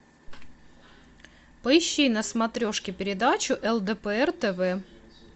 поищи на смотрешке передачу лдпр тв